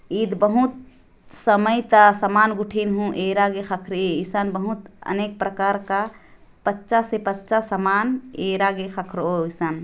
इद बहुत समय ता समान गुठिर हु एरा गे खखरे इसन बहुत अनेक प्रकार का पच्चा से पच्चा समान एरा गे खखरो इसन --